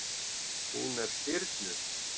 Hún er stirðnuð.